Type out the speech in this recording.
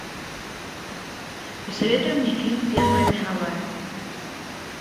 посоветуй мне фильм первая мировая